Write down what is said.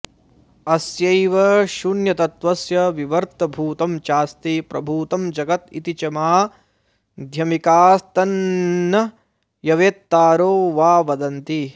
अस्यैव शून्यतत्त्वस्य विवर्त भूतं चास्ति प्रभूतं जगत् इति च माध्यमिकास्तन्नयवेत्तारो वा वदन्ति